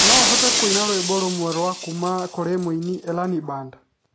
No ũhote kũina rwĩmbo rũmwe rwa kuuma kũrĩ mũini Elani Band